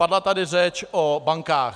Padla tady řeč o bankách.